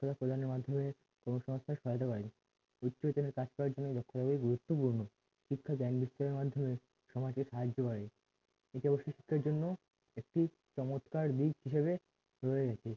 প্রদানের মাধ্যমে বিস্তারিত ভাবে কাজ করার জন্য লক্ষ্য ভাবে গুরুত্বপূর্ণ শিক্ষা জ্ঞান বিস্তারের মাধ্যমে সমাজের সাহায্য বাড়ে এটাও শিক্ষিতোর জন্য একটি চমৎকার দিক হিসাবে রয়ে আছে